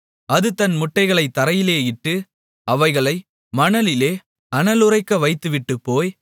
அது தன் முட்டைகளைத் தரையிலே இட்டு அவைகளை மணலிலே அனலுறைக்க வைத்துவிட்டுப்போய்